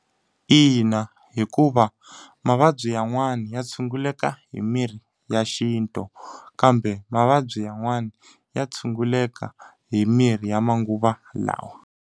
Ina hikuva, mavabyi yan'wana ya tshunguleka hi mirhi ya xintu. Kambe mavabyi yan'wana ya tshunguleka hi mirhi ya manguva lawa.